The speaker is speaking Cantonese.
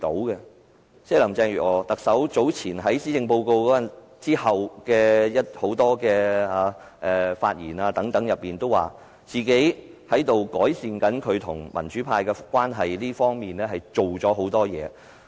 特首林鄭月娥早前在施政報告發表後的眾多發言中表示，在改善與民主派的關係方面下了很多工夫。